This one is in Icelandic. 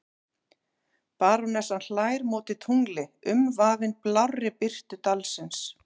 Barónessan hlær móti tungli umvafin blárri birtu dalsins.